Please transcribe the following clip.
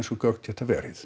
og gögn geta verið